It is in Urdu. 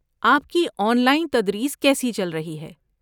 آپ کی آن لائن تدریس کیسی چل رہی ہے؟